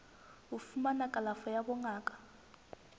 ho fumana kalafo ya bongaka